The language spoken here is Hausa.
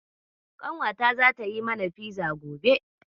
Ƙanwata zata yi mana fiza gobe.